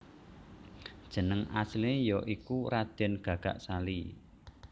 Jeneng asliné ya iku Radèn Gagak Sali